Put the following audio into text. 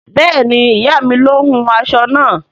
Bẹẹni, iya mi ló hún aṣọ náà